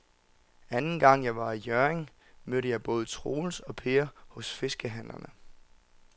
Anden gang jeg var i Hjørring, mødte jeg både Troels og Per hos fiskehandlerne.